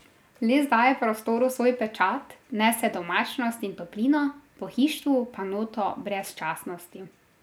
Les daje prostoru svoj pečat, vnese domačnost in toplino, pohištvu pa noto brezčasnosti.